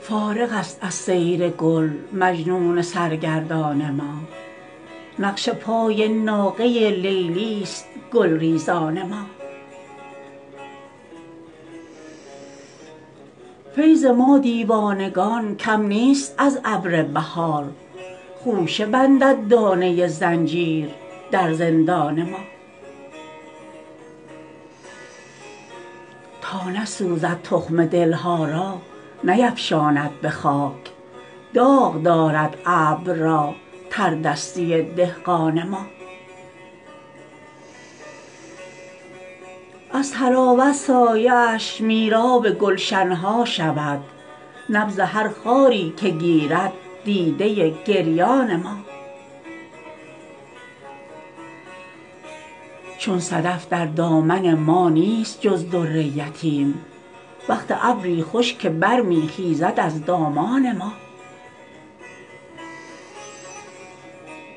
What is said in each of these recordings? فارغ است از سیر گل مجنون سرگردان ما نقش پای ناقه لیلی است گلریزان ما فیض ما دیوانگان کم نیست از ابر بهار خوشه بندد دانه زنجیر در زندان ما تا نسوزد تخم دلها را نیفشاند به خاک داغ دارد ابر را تردستی دهقان ما از طراوت سایه اش میراب گلشن ها شود نبض هر خاری که گیرد دیده گریان ما چون صدف در دامن ما نیست جز در یتیم وقت ابری خوش که برمی خیزد از دامان ما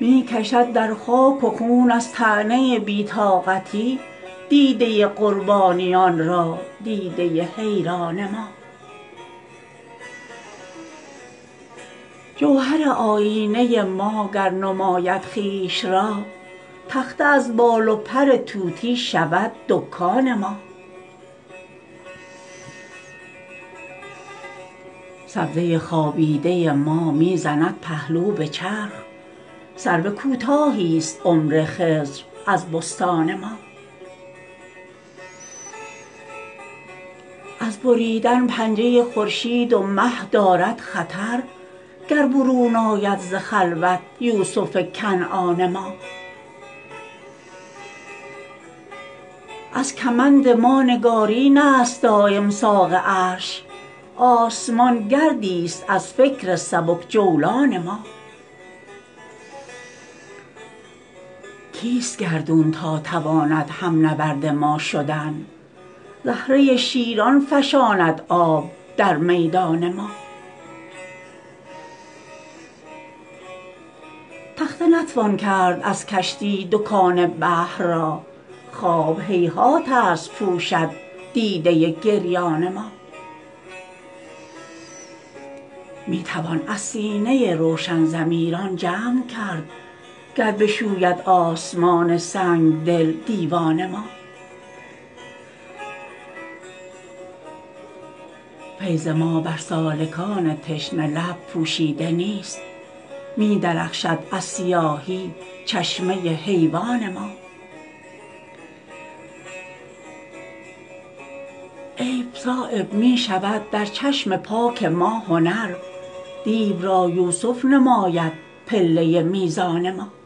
می کشد در خاک و خون از طعنه بی طاقتی دیده قربانیان را دیده حیران ما جوهر آیینه ما گر نماید خویش را تخته از بال و پر طوطی شود دکان ما سبزه خوابیده ما می زند پهلو به چرخ سرو کوتاهی است عمر خضر از بستان ما از بریدن پنجه خورشید و مه دارد خطر گر برون آید ز خلوت یوسف کنعان ما از کمند ما نگارین است دایم ساق عرش آسمان گردی است از فکر سبک جولان ما کیست گردون تا تواند هم نبرد ما شدن زهره شیران فشاند آب در میدان ما تخته نتوان کرد از کشتی دکان بحر را خواب هیهات است پوشد دیده گریان ما می توان از سینه روشن ضمیران جمع کرد گر بشوید آسمان سنگدل دیوان ما فیض ما بر سالکان تشنه لب پوشیده نیست می درخشد از سیاهی چشمه حیوان ما عیب صایب می شود در چشم پاک ما هنر دیو را یوسف نماید پله میزان ما